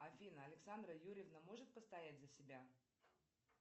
афина александра юрьевна может постоять за себя